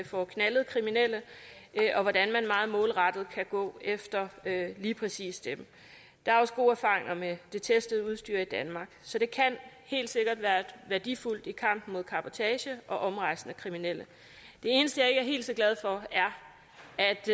får knaldet kriminelle og hvordan man meget målrettet kan gå efter lige præcis dem der er også gode erfaringer med det testede udstyr i danmark så det kan helt sikkert være værdifuldt i kampen mod cabotage og omrejsende kriminelle det eneste jeg ikke er helt så glad for er